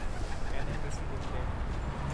NMDC limited